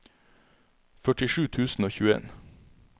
førtisju tusen og tjueen